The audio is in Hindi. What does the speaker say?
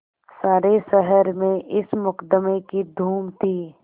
सारे शहर में इस मुकदमें की धूम थी